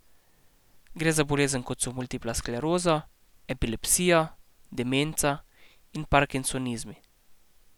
Gre za bolezni, kot so multipla skleroza, epilepsija, demenca in parkinsonizmi.